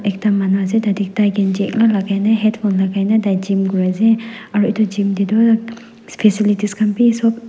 ekta manu ase tatey tai kenji ekla lagaine headphone lagaine tai gym kuri ase aru itu gym tey Tu specialities khan bi sop--